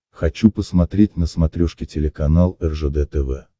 хочу посмотреть на смотрешке телеканал ржд тв